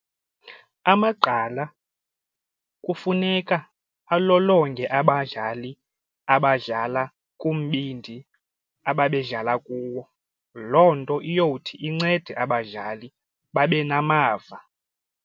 Amagqala kufuneka alolonge abadlali abadlala kumbindi ababedlala kuwo. Loo nto iyawuthi incede abadlali babe namava.